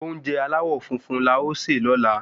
Oúnjẹ aláwò funfun la o ṣe lóla